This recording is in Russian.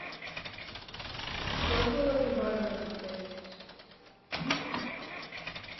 что за лобби бар в этом отеле